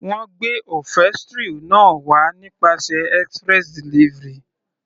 Wọ́n gbé upholstery náà wá nípasẹ̀ express delivery.